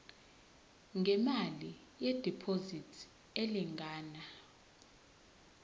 ngemali yediphozithi elingana